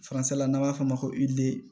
Faransɛ la n'an b'a fɔ o ma ko